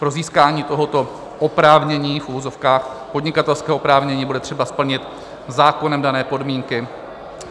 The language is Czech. Pro získání tohoto oprávnění, v uvozovkách podnikatelského oprávnění, bude třeba splnit zákonem dané podmínky.